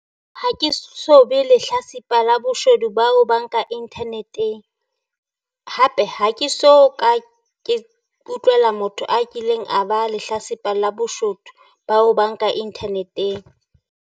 Ha ke so be lehlatsipa la boshodu ba ho banka internet-eng, hape ha ke so ka ke utlwela motho a kileng a ba lehlatsipa la boshodu ba ho banka internet-eng.